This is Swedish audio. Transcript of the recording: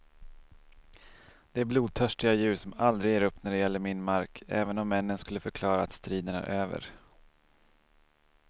De är blodtörstiga djur som aldrig ger upp när det gäller min mark, även om männen skulle förklara att striden är över.